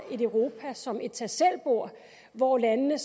et europa som et tag selv bord hvor landene